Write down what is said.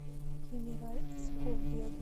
хенераль эскобедо